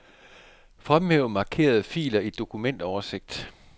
Fremhæv markerede filer i dokumentoversigt.